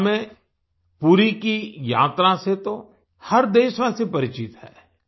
ओड़िसा में पुरी की यात्रा से तो हर देशवासी परिचित है